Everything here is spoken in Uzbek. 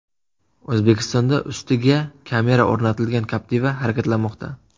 O‘zbekistonda ustiga kamera o‘rnatilgan Captiva harakatlanmoqda.